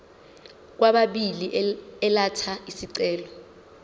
kwababili elatha isicelo